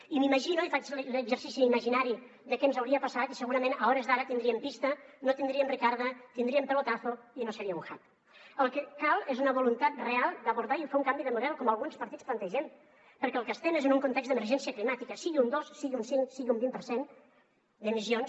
i m’imagino i faig l’exercici imaginari de què ens hauria passat i segurament a hores d’ara tindríem pista no tindríem ricarda tindríem pelotazo i no seria un el que cal és una voluntat real d’abordar i fer un canvi de model com alguns partits plantegem perquè en el que estem és en un context d’emergència climàtica sigui un dos sigui un cinc sigui un vint per cent d’emissions